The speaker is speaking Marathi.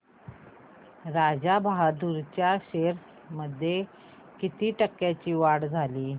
राजा बहादूर च्या शेअर्स मध्ये किती टक्क्यांची वाढ झाली